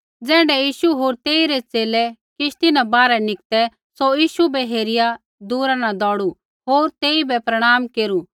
ज़ैण्ढै यीशु होर तेइरै च़ेले किश्ती न बाहरै निकतै सौ यीशु बै हेरिया दूरा न दौड़ू होर तेइबै प्रणाम केरू